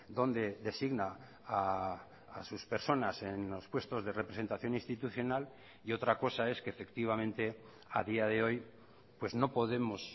dónde designa a sus personas en los puestos de representación institucional y otra cosa es que efectivamente a día de hoy pues no podemos